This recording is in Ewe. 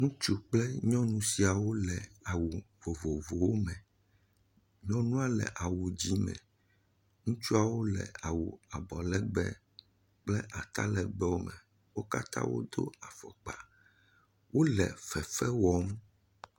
Ŋutsu kple nyɔnu siawo le awu vovovowo me. Nyɔnua le awu di me. Ŋutsuawo le awu abɔlegbe kple atalegbewo me. Wo katã wodo afɔkpa. Wo le fefe wɔm.